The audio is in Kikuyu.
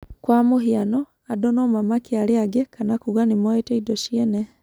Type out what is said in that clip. Kwa mũhiano, andũ no mamakie arĩa angĩ kana kuuga nĩ moete indo ciene.